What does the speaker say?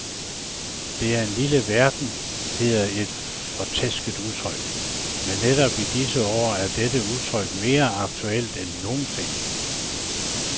Det er en lille verden hedder et fortærsket udtryk, men netop i disse år er dette udtryk mere aktuelt end nogensinde.